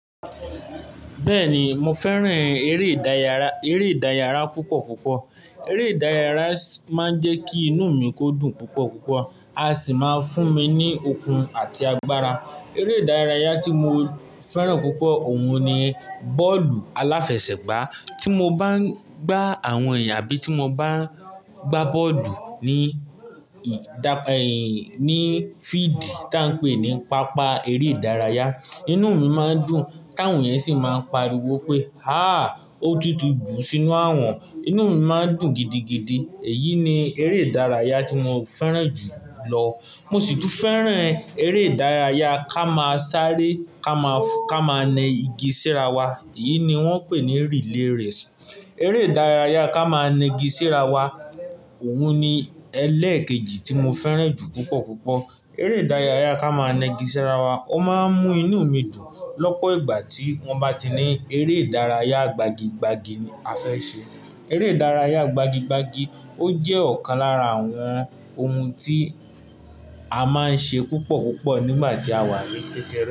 Bẹ́ẹ̀ni, mo fẹ́ràn eré ìdárayá, eré ìdárayá púpọ̀ púpọ̀. Eré ìdárayá máa ń jẹ́ kí inú mi kó dùn púpọ̀ púpọ̀, a sì máa ń fún mi ní okun àti agbára. Eré ìdárayá tí mo fẹ́ràn púpọ̀ òun ni bọ́ọ̀lù aláfẹsẹ̀gbá. Tí mo bá ń gbá àwọn ẹ̀yà àbí tí mo bá ń gbá bọ́ọ̀dù ní ì- dà- ẹ́yìn- ní fíídì tá ń pé ní pápá eré ìdárayá, inú mi má ń dùn káwọn yẹn sì máa ń pariwo pé "haà! Ó tútù dùn sínú a wọn", inú mi má ń dùn gidigidi. Èyí ni eré ìdárayá tí mo fẹ́ràn jù lọ. Mo sì tún fẹ́ràn eré ìdárayá ká máa sáré ká máa, ká máa nẹ igi síra wa, èyí ni wón ń pè ní rìlèèsì. Eré ìdárayá ká máa nẹ igi síra wa, òun ni ẹlẹ́ẹ̀kejì tí mo fẹ́ràn jù púpọ̀ púpọ̀. Eré ìdárayá ká máa nẹ igi síra wa, ó má ń mú inú mi dùn. Lọ́pọ̀ ìgbà tí wọ́n bá ti ní eré ìdárayá gbagi gbagi afẹ́ ṣe, eré ìdárayá gbagi gbagi ó jẹ́ ọ̀kan lára àwọn ohun tí a má ń ṣe púpọ̀ púpọ̀ nígbà tí a wà ní kékeré.